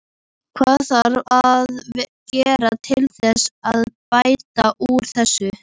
Hvað þarf að gera til þess að bæta úr þessu?